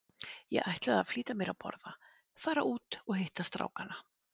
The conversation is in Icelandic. Ég ætlaði að flýta mér að borða, fara út og hitta strákana.